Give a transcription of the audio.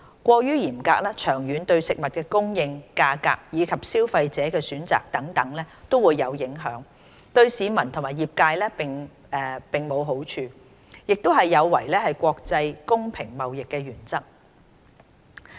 過於嚴格，長遠對食物供應、價格，以及消費者的選擇等均有影響，對市民和業界並無好處，亦有違國際公平貿易的原則。